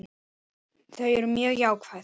Þau eru mjög jákvæð.